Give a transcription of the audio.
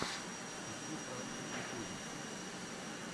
ищи пранки в ютубе